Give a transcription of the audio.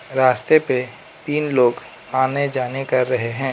रास्ते पे तीन लोग आने जाने कर रहे हैं।